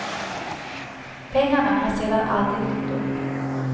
Pengarna har sedan aldrig dykt upp.